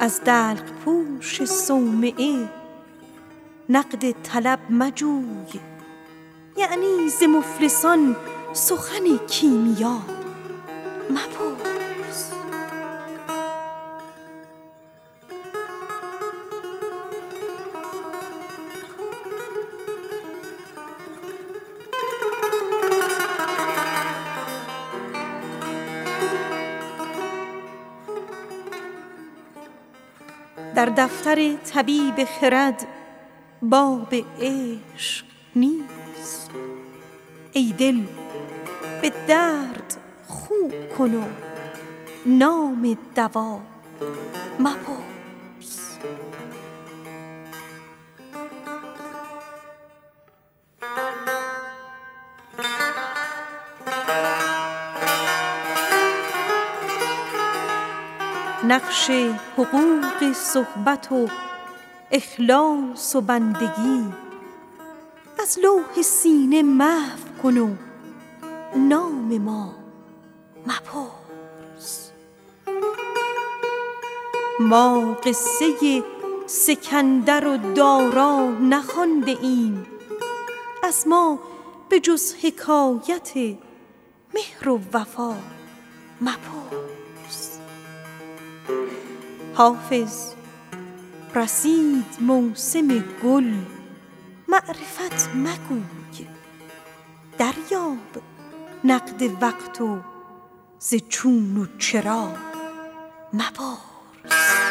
از دلق پوش صومعه نقد طلب مجوی یعنی ز مفلسان سخن کیمیا مپرس در دفتر طبیب خرد باب عشق نیست ای دل به درد خو کن و نام دوا مپرس ما قصه سکندر و دارا نخوانده ایم از ما به جز حکایت مهر و وفا مپرس حافظ رسید موسم گل معرفت مگوی دریاب نقد وقت و ز چون و چرا مپرس